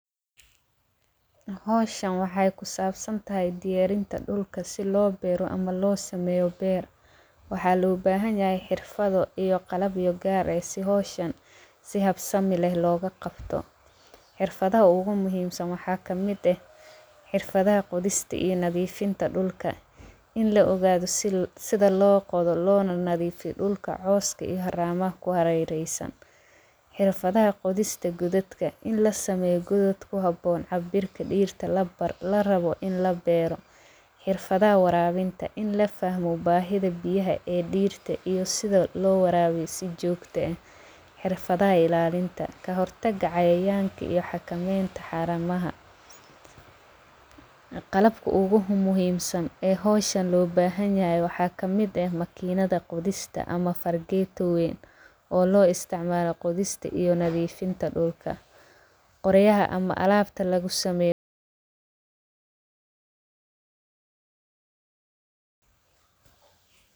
Howshan waxee kusaabsantahay diyaarinta dhulka, si loo beero ama loo sameeyo beer waxaa loo bahanyahay xirfado iyo qalabyo gaar eh si howshan si habsami leh looga qabto xirfadaha ugu muhiimsan waxaa kamid eh xirfadaha qodista iyo nadiifinta dhulka in lo ogaado sida loo qodo loona nadiifiyo dhulka cowska iyo haraamaha ku hareereysan xirfadaha qodista gododka in la sameeyo godod ku haboon cabirka dhirta la rabo in la beero, Xirfada waraabinta in la fahmo baahida biyaha ee dhirta iyo sida ll waraabiyo si joogta eh xirfadaha ilaalinta ka hortaga cayayaanka iyo xakameeynta xaramaha qalabka ugu muuhimsan ee howshan loo bahanyahay waxaa kamid eh makiinada qodista ama fargeetooyin oo loo isticmaalo qodista iyo nadiifinta dhulka qoryaha ama alaabta lagu sameeyo.